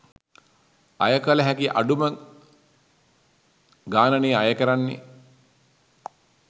අය කල හැකි අඩුම ගානනෙ අය කරන්නෙ.